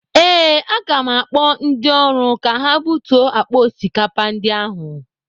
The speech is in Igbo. Ee, aga m akpọ ndị ọrụ ka ha butuo akpa osikapa ndị ahụ.